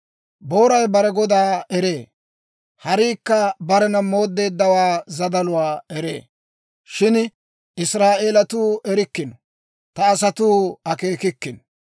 Booray bare godaa eree; hariikka barena mooddeeddawaa zadaluwaa eree; shin Israa'eelatuu erikkino; ta asatuu akeekikkino.